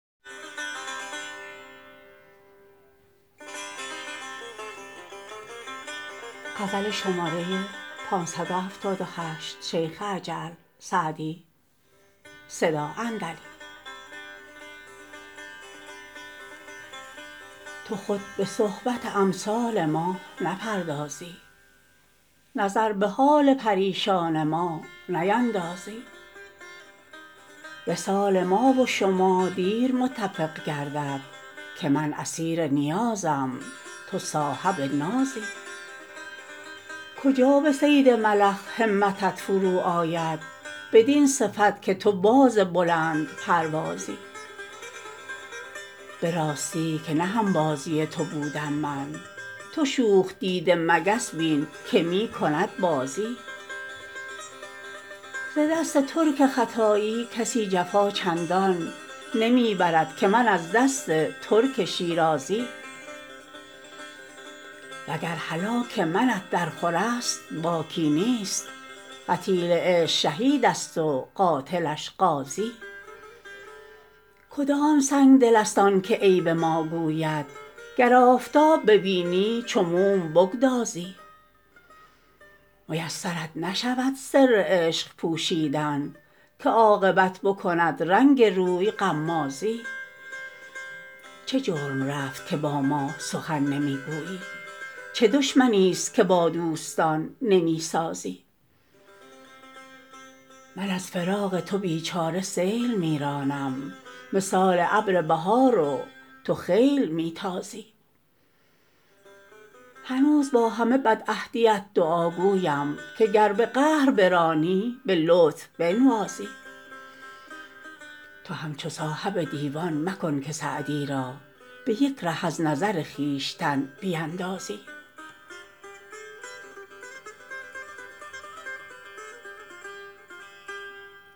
تو خود به صحبت امثال ما نپردازی نظر به حال پریشان ما نیندازی وصال ما و شما دیر متفق گردد که من اسیر نیازم تو صاحب نازی کجا به صید ملخ همتت فرو آید بدین صفت که تو باز بلندپروازی به راستی که نه هم بازی تو بودم من تو شوخ دیده مگس بین که می کند بازی ز دست ترک ختایی کسی جفا چندان نمی برد که من از دست ترک شیرازی و گر هلاک منت درخور است باکی نیست قتیل عشق شهید است و قاتلش غازی کدام سنگدل است آن که عیب ما گوید گر آفتاب ببینی چو موم بگدازی میسرت نشود سر عشق پوشیدن که عاقبت بکند رنگ روی غمازی چه جرم رفت که با ما سخن نمی گویی چه دشمنیست که با دوستان نمی سازی من از فراق تو بی چاره سیل می رانم مثال ابر بهار و تو خیل می تازی هنوز با همه بدعهدیت دعاگویم که گر به قهر برانی به لطف بنوازی تو همچو صاحب دیوان مکن که سعدی را به یک ره از نظر خویشتن بیندازی